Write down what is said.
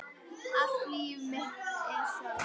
Allt líf mitt er svona!